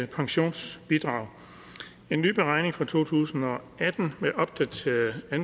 pensionsbidrag en nye beregning fra to tusind og atten med opdaterede